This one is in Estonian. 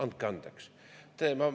Andke andeks!